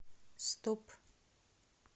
стоп